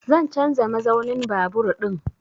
Zan canza mazaunin babur ɗin